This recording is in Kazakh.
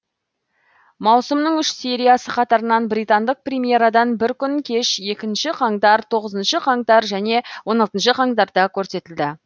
маусымның үш сериясы қатарынан британдық премьерадан бір күн кеш екінші қаңтар тоғызыншы қаңтар және он алтыншы қаңтарда көрсетілді